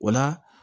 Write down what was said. O la